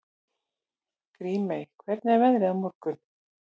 Grímey, hvernig er veðrið á morgun?